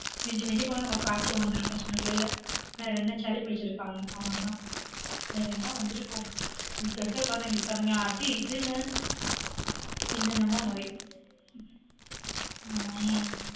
மிஞ்சி மிஞ்சி போன நமக்கு காய்ச்சல் வந்திருக்கும் சின்ன பிள்ளைல வேற என்ன சளி பிடிச்சிருக்கும் அவ்ளோதா வேற என்ன வந்திருக்கும்? இப்போ இருக்கற கொழந்தைங்களுக்கு பாருங்க அது இதுன்னு என்னென்னவோ நோய ஹம்